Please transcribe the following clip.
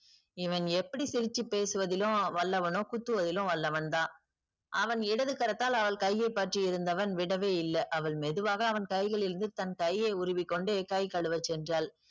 இவன் எப்படி சிரிச்சு பேசுவதிலும் வல்லவனோ குத்துவதிலும் வல்லவன் தான். அவன் இடது கரத்தால் அவள் கையை பற்றி இருந்தவன் விடவேயில்லை. அவள் மெதுவாக அவன் கைகளிலிருந்து தன் கையை உருவி கொண்டு கை கழுவ சென்றாள்.